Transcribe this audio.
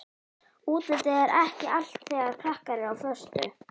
Útlitið er ekki allt þegar krakkar eru á föstu.